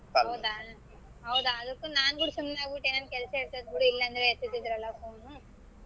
ಹೌದಾ ಹೌದಾ ಅದಕು ನಾನ್ ಕೂಡ ಸುಮ್ನಾಗ್ಬಿಟ್ಟೆ ಏನಾದ್ರು ಕೆಲ್ಸ ಇರತೆತಿ ಬಿಡು ಇಲ್ಲಾಂದ್ರೆ ಎತ್ತಿತ್ ಇದ್ರಲ್ಲ phone ಉ.